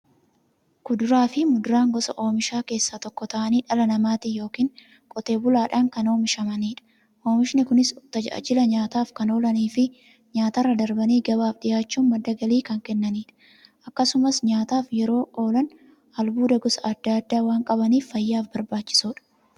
Kuduraafi muduraan gosa oomishaa keessaa tokko ta'anii, dhala namaatin yookiin Qotee bulaadhan kan oomishamaniidha. Oomishni Kunis, tajaajila nyaataf kan oolaniifi nyaatarra darbanii gabaaf dhiyaachuun madda galii kan kennaniidha. Akkasumas nyaataf yeroo oolan, albuuda gosa adda addaa waan qabaniif, fayyaaf barbaachisoodha.